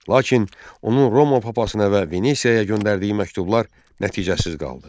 Lakin onun Roma papasına və Venesiyaya göndərdiyi məktublar nəticəsiz qaldı.